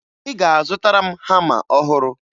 Ị ga-azụtara m hama ọhụrụ